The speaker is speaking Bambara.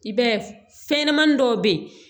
I b'a ye fɛnɲɛnɛmanin dɔw bɛ ye